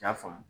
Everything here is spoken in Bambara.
I y'a faamu